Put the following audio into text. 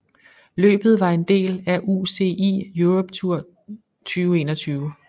Løbet var en del af UCI Europe Tour 2021